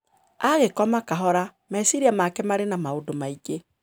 Agĩkoma kahora, meciria make marĩ na maũndũ maingĩ.